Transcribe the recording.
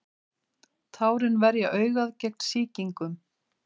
tárin verja augað gegn sýkingum